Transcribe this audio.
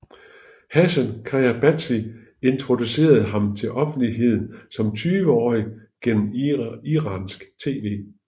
Hassan Khayatbashi introducerede ham til offentligheden som 20 årige gennem iransk tv